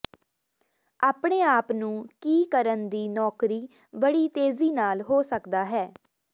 ਆਪਣੇ ਆਪ ਨੂੰ ਕੀ ਕਰਨ ਦੀ ਨੌਕਰੀ ਬੜੀ ਤੇਜ਼ੀ ਨਾਲ ਹੋ ਸਕਦਾ ਹੈ